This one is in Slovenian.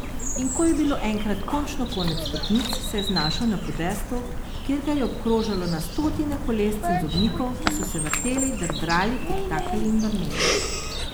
In ko je bilo enkrat končno konec stopnic, se je znašel na podestu, kjer ga je obkrožalo na stotine kolesc in zobnikov, ki so se vrteli, drdrali, tiktakali in brneli.